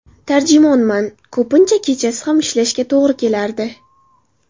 Tarjimonman, ko‘pincha kechasi ham ishlashga to‘g‘ri kelardi.